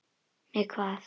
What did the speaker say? Með hvað?